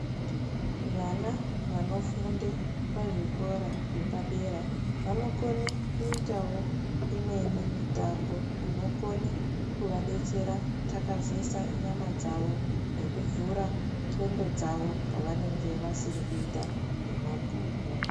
Vana vanofunde kuzvikora zvepadera vanokone kuite imweni mitombo inokone kuvadetsera kutakazesa nyama dzawo nekuvhure ndxondo dzawo pavanenge vasiri kuita zvemabhuku.